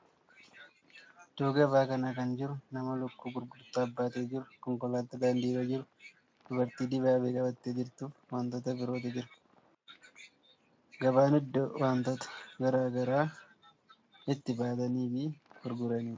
Iddoo gabaa kana kan jiru nama lukkuu gurgurtaaf baatee jiru, konkolaataa daandii irra jiru, dubartii dibaabee qabattee jirtuu fi wantoota birootu jira. Gabaan iddoo wantoota garaa garaa itti bitanii fi gurguranidha.